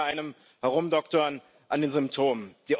sie gleichen eher einem Herumdoktern an den Symptomen.